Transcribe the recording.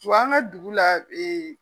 an ka dugu la